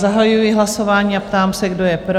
Zahajuji hlasování a ptám se, kdo je pro?